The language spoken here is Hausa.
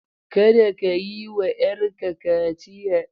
Kada ka yi wa 'yarka kaciya!